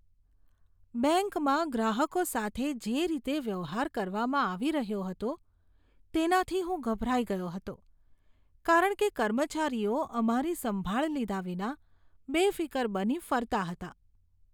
બેંકમાં ગ્રાહકો સાથે જે રીતે વ્યવહાર કરવામાં આવી રહ્યો હતો તેનાથી હું ગભરાઇ ગયો હતો કારણ કે કર્મચારીઓ અમારી સંભાળ લીધા વિના બેફીકર બની ફરતા હતા.